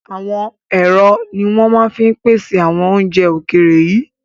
Àwọn ẹ̀rọ ni wọn máa ń pèsè àwọn oúnjẹ ókéré yìí